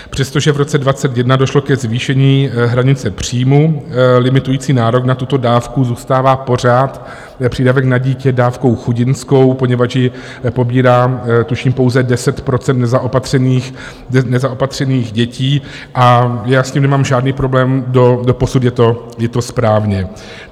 Přestože v roce 2021 došlo ke zvýšení hranice příjmu limitující nárok na tuto dávku, zůstává pořád přídavek na dítě dávkou chudinskou, poněvadž ji pobírá tuším pouze 10 %nezaopatřených dětí, a já s tím nemám žádný problém, doposud je to správně.